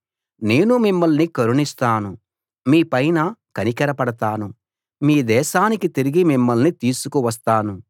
నేను మిమ్మల్ని కరుణిస్తాను మీ పైన కనికరపడతాను మీ దేశానికి తిరిగి మిమ్మల్ని తీసుకువస్తాను